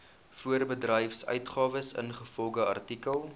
voorbedryfsuitgawes ingevolge artikel